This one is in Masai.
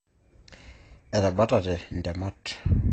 Etabatate intemat